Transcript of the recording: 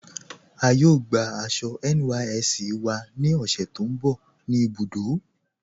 A yóò gbà àṣọ NYSC wà ní òṣè tó nbọ̀ ní ibùdó.